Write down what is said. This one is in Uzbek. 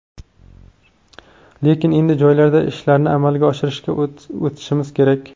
Lekin endi joylarda ishlarni amalga oshirishga o‘tishimiz kerak.